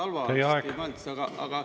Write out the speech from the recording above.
Teie aeg!